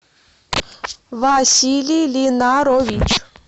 василий линарович